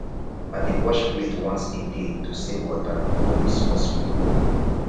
i dey wash plate once a day to save water no be small small